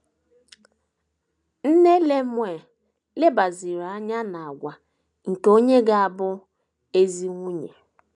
Nne Lemuel lebaziri anya n’àgwà nke onye ga - abụ ezi nwunye.